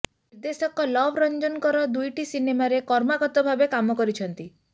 ନିର୍ଦ୍ଦେଶକ ଲଭ ରଂଜନଙ୍କର ଦୁଇଟି ସିନେମାରେ କ୍ରମାଗତଭାବେ କାମ କରିଛନ୍ତି